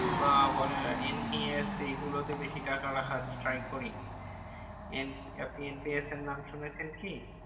বা বলেন NPS এই গুলো তে বেশি টাকা রাখার try করি। আপনি NPS এর নাম শুনেছেন কি?